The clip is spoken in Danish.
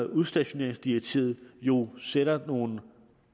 udstationeringsdirektivet jo sætter nogle